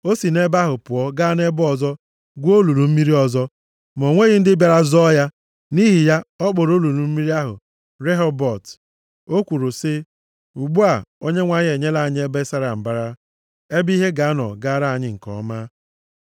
O si nʼebe ahụ pụọ gaa nʼebe ọzọ gwuo olulu mmiri ọzọ. Ma o nweghị ndị bịara zọọ ya. Nʼihi ya ọ kpọrọ olulu mmiri ahụ Rehobọt. O kwuru sị, “Ugbu a, Onyenwe anyị enyela anyị ebe sara mbara, ebe ihe ga-anọ gaara anyị nke ọma.”